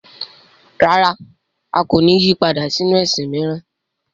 Rárá! A kò ní yí padà sínu ẹ̀sìn mìíràn.